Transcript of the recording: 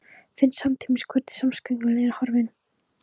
Finn samtímis hvernig samviskukvölin er horfin.